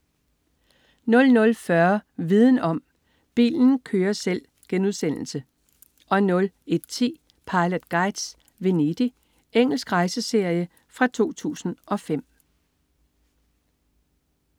00.40 Viden om: Bilen kører selv* 01.10 Pilot Guides: Venedig. Engelsk rejseserie fra 2005